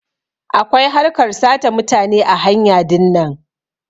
Akwai harkar sata mutane ã hanya dinnan.